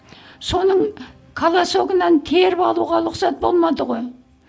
соның колосогынан теріп алуға рұқсат болмады ғой